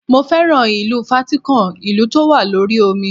Mo féràn ìlú Fátíkàn, ìlú tó wà lórí omi.